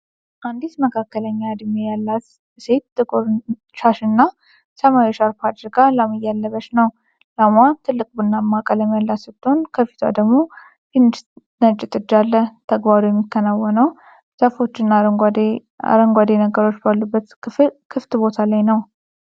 አንዲት መካከለኛ እድሜ ያላት ሴት ጥቁር ሻሽና ሰማያዊ ሻርፕ አድርጋ ላም እያለበች ነው። ላምዋ ትልቅ ቡናማ ቀለም ያላት ስትሆን፣ ከፊቷ ደግሞ ትንሽ ነጭ ጥጃ አለ። ተግባሩ የሚከናወነው ዛፎችና አረንጓዴ ነገሮች ባሉበት ክፍት ቦታ ላይ ነው።